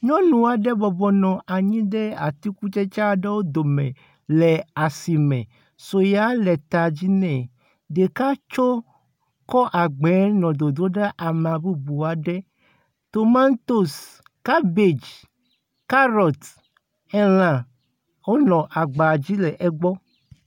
Nyɔnu aɖe bɔbɔnɔ anyi ɖe atikutsetse aɖewo dome le asime. Sɔeya le ta dzi nɛ. Ɖeka tso kɔ agbea nɔ dodom ɖe ame bubu aɖe. tomatosi, kabɛdzi, karɔti, ela wonɔ agba dzi le egbɔ.